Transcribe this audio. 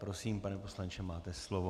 Prosím, pane poslanče, máte slovo.